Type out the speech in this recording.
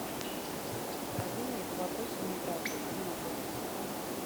управление по вопросам миграции где находится